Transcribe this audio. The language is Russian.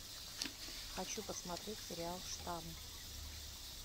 хочу посмотреть сериал штамм